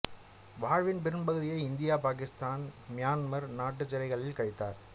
வாழ்வின் பெரும்பகுதியை India Pakistan Myanmar நாட்டுச் சிறைகளில் கழித்தவர்